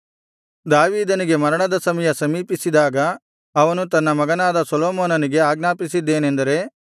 ದಾವೀದನಿಗೆ ಮರಣದ ಸಮಯ ಸಮೀಪಿಸಿದಾಗ ಅವನು ತನ್ನ ಮಗನಾದ ಸೊಲೊಮೋನನಿಗೆ ಆಜ್ಞಾಪಿಸಿದ್ದೇನೆಂದರೆ